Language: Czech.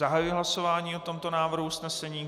Zahajuji hlasování o tomto návrhu usnesení.